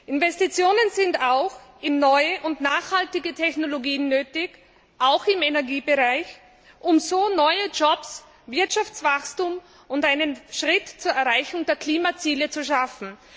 Investitionen sind auch in neue und nachhaltige Technologien nötig auch im Energiebereich um so neue Jobs, Wirtschaftswachstum und einen Schritt zur Verwirklichung der Klimaziele zu schaffen.